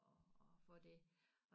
At at få det